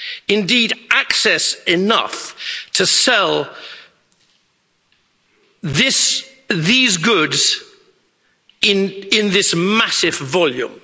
Indeed, access enough to sell these goods in this massive volume.